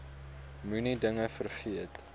moenie dinge vergeet